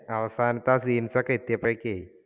അവസാനത്തെ ആ scene ഒക്കെ എത്തിയപ്പോഴേക്കേ